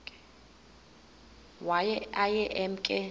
waye aye emke